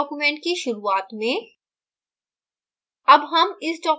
यानी इस document की शुरुआत में